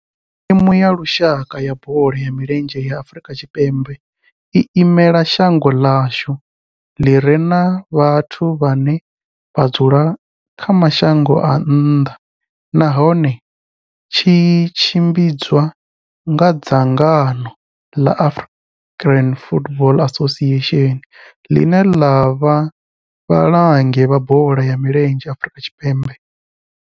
Thimu ya lushaka ya bola ya milenzhe ya Afrika Tshipembe i imela shango ḽa hashu ḽi re na vhathu vhane vha dzula kha mashango a nnḓa nahone tshi tshimbidzwa nga dzangano la South African Football Association, line la vha vhalangi vha bola ya milenzhe Afrika Tshipembe.